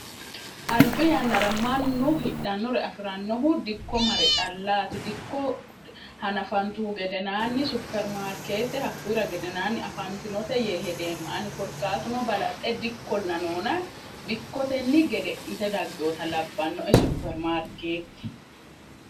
albi yannara mannu hidhannore afi'rannohu dikko mare callaati dikko hanafantuhu gedenaanni supermaarkeete hakkuyira gedenaanni afantinote yee hedeemma ani korkaatuno balaxxe dikkollanoona dikkotenni gede'nite daggehota labbannoe supermaarkeetti